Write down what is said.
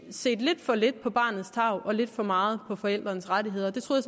set lidt for lidt på barnets tarv og lidt for meget på forældrenes rettigheder jeg troede